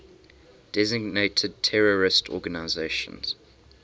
designated terrorist organizations